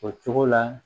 O cogo la